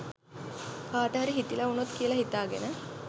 කටහරි හිතිල උනොත් කියල හිතගෙන